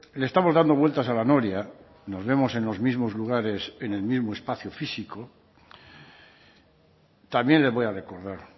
le estamos dando vueltas a la noria nos vemos en los mismos lugares en el mismo espacio físico también le voy a recordar